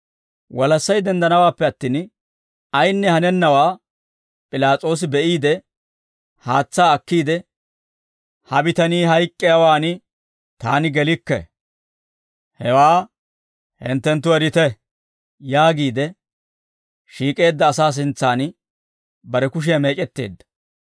Walassay denddanawaappe attin, ayinne hanennawaa P'ilaas'oosi be'iide, haatsaa akkiide, «Ha bitanii hayk'k'iyaawaan taani gelikke; hewaa hinttenttu erite» yaagiide shiik'eedda asaa sintsaan bare kushiyaa meec'etteedda.